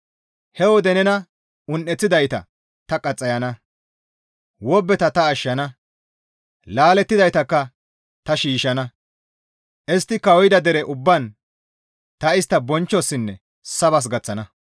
He wode nena un7eththidayta ta qaxxayana. Wobbeta ta ashshana; laalettidaytakka ta shiishshana. Istti kawuyida dere ubbaan ta istta bonchchosinne sabas gaththana.